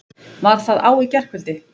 Var það á í gærkvöldi?